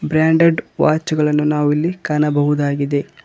Branded watch ಗಳನ್ನು ನಾವು ಇಲ್ಲಿ ಕಾಣಬಹುದಾಗಿದೆ.